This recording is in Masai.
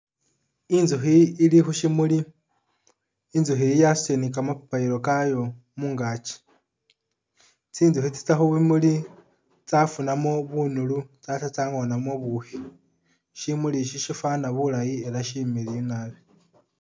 Inzukhi ili khusimuli inzukhi iyi yasutile ni kamapapariro kayo mungachi tsintzukhi tsitsya khubimuli tsafunamo bunuli tsatsya tsangonamo bubukhi shimuli isi sifana bulayii atee silayi naabi